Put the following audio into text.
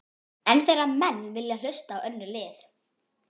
En þegar menn vilja hlusta á önnur lið?